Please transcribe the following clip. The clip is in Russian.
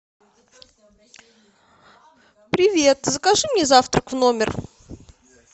привет закажи мне завтрак в номер